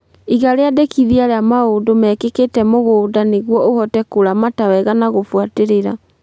Iga rĩandĩkithia rĩa maũndũ mekĩkĩte mũgũnda nĩguo ũhote kũramata wega na gũbuatĩrĩra